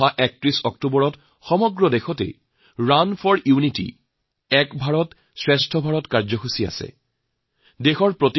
৩১ অক্টোবৰত সমগ্ৰ দেশতে ৰুণ ফৰ ইউনিটি এক ভাৰত শ্ৰেষ্ঠ ভাৰত কৰ্মসূচী পালন কৰা হব